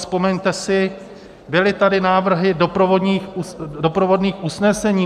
Vzpomeňte si, byly tady návrhy doprovodných usnesení.